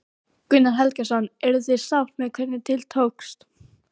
Gunnar Helgason: Eruð þið sátt með hvernig til tókst?